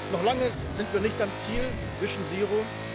Noch lange sind wir nicht am Ziel Vision Zero